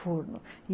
Forno.